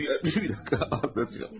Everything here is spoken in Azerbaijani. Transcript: Bir dəqiqə, anlatacağım.